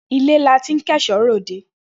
Ilẹ la tin ko eso re ode.